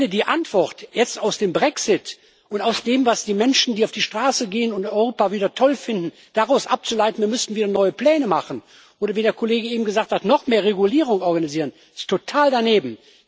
Die Antwort, die jetzt aus dem Brexit und aus dem, was die Menschen, die auf die Straße gehen und Europa wieder toll finden, abzuleiten ist, lautet Wir müssen neue Pläne machen. Oder wie der Kollege eben gesagt hat Noch mehr Regulierung organisieren ist total daneben.